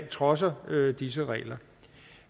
trodser disse regler